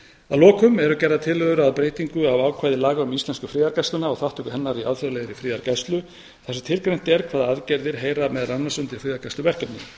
að lokum eru gerðar tillögur að breytingu á ákvæði laga um íslensku friðargæsluna og þátttöku hennar í alþjóðlegri friðargæslu þar sem tilgreint er hvaða aðgerðir heyra meðal annars undir friðargæsluverkefni